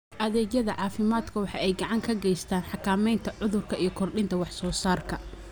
Adeegyada caafimaadku waxa ay gacan ka geystaan ??xakamaynta cudurka iyo kordhinta wax soo saarka.